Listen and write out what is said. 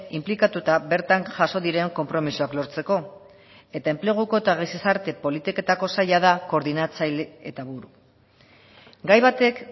inplikatuta bertan jaso diren konpromisoak lortzeko eta enpleguko eta gizarte politiketako saila da koordinatzaile eta buru gai batek